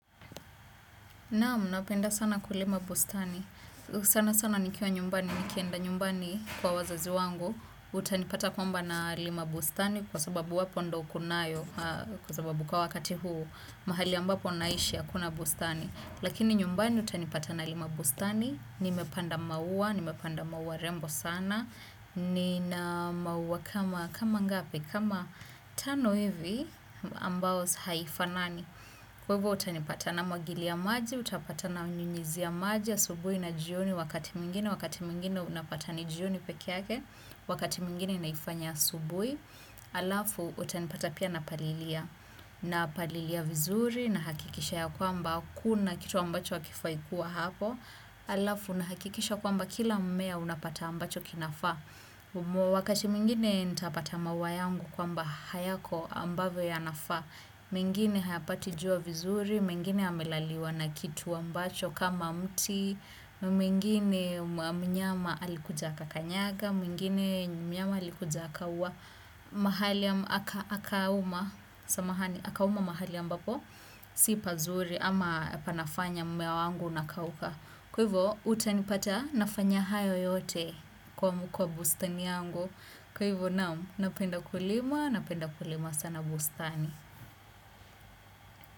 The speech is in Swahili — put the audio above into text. Naamu, napenda sana kulima bustani. Sana sana nikiwa nyumbani, nikienda nyumbani kwa wazazi wangu. Utanipata kwamba nalima bustani kwa sababu wapo ndo kunayo kwa sababu kwa wakati huu mahali ambapo naishi hakuna bustani. Lakini nyumbani utanipata na lima bustani, nimepanda maua, nimepanda maua rembo sana, nina maua kama ngapi, kama tano hivi ambao haifa nani. Kwevo utanipata namwagili ya maji, utapata nanyunyizi ya maji ya subuhi na jioni wakati mingine, wakati mingine unapata ni jioni peki yake, wakati mingine naifanya ya subuhi, alafu utanipata pia na palilia, na palilia vizuri na hakikisha ya kwamba kuna kitu ambacho akifai kua hapo, alafu nahakikisha kwamba kila mmea unapata ambacho kinafa. Wakati mwingine nitapata mauwa yangu kwamba hayako ambavo yanafa mingine hayapatijua vizuri, mingine yamelaliwa na kitu ambacho kama mti mingine mnyama alikuja akakanyaga, mingine mnyama alikuja akauwa mahali akawuma, samahani, akawuma mahali ambapo si pazuri ama panafanya mmea wangu uakawuka. Kwa hivyo, utanipata nafanya hayo yote kwa kwa bustani yangu. Kwa hivyo nao, napenda kulima, napenda kulima sana bustani.